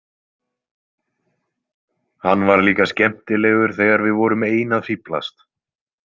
Hann var líka skemmtilegur þegar við vorum ein að fíflast.